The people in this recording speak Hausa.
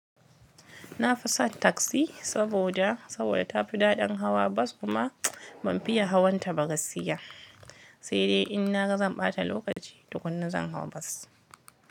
Na fi sa taksi saboda, saboda ta fi daɗin hawa bas kuma ban fiya hawan ta ba gaskiya. Sai dai in na ga zan ɓata lokaci tukuna zan hau bas.